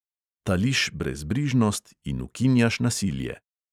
Tališ brezbrižnost in ukinjaš nasilje.